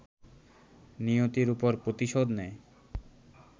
নিয়তির উপর প্রতিশোধ নেয়